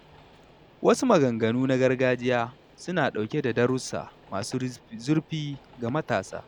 Wasu maganganu na gargajiya suna ɗauke da darussa masu zurfi ga matasa.